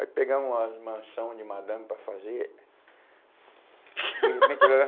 Aí pegamos as mansão de madame para fazer.